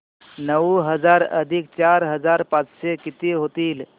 नऊ हजार अधिक चार हजार पाचशे किती होतील